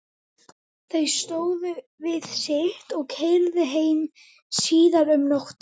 Þau stóðu við sitt og keyrðu mig heim síðar um nóttina.